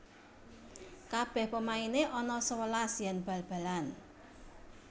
Kabeh pemaine ana sewelas yen bal balan